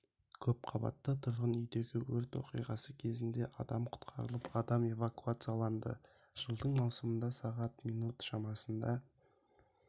көп қабатты тұрғын үйдегі өрт оқиғасы кезінде адам құтқарылып адам эвакуацияланды жылдың маусымында сағат минут шамасында